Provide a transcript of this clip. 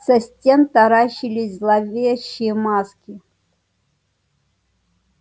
со стен таращились зловещие маски